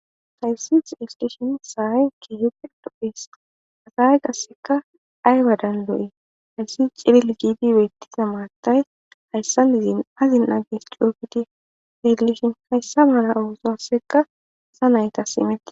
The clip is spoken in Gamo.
Hayssis isteshin sahay kki hipud duphis asaye qasseka aywadan do7i hayssi ciril giiti beettisa maatay hayssan izin azin aages ciuyofiti heegilishin hayssa mana uwosoassekka sa naytas imette.